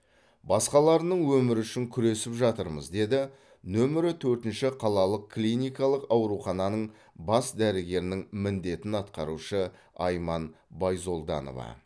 басқаларының өмірі үшін күресіп жатырмыз деді нөмірі төртінші қалалық клиникалық аурухананың бас дәрігерінің міндетін атқарушы айман байзолданова